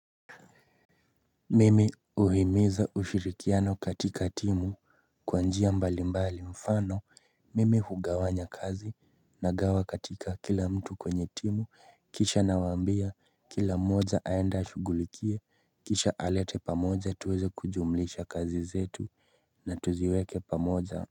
Mimi huhimiza ushirikiano katika timu kwanjia mbali mbali mfano mimi hugawanya kazi nagawa katika kila mtu kwenye timu kisha nawambia kila mmoja aende ashugulikie kisha alete pamoja tuweze kujumlisha kazi zetu na tuziweke pamoja.